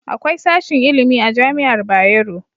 Akwai sashin ilimi a Jami'ar Bayero.